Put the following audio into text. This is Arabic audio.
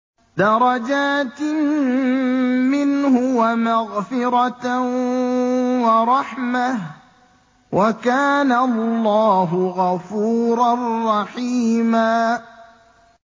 دَرَجَاتٍ مِّنْهُ وَمَغْفِرَةً وَرَحْمَةً ۚ وَكَانَ اللَّهُ غَفُورًا رَّحِيمًا